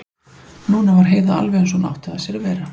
Núna var Heiða alveg eins og hún átti að sér að vera.